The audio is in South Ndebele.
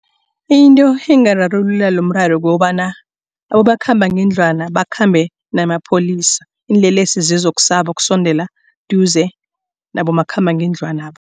Into engararulula lomraro kukobana abomakhambangendlwana bakhambe namapholisa. Iinlelesi zizokusaba kusondela eduze nabomakhambangendlwana.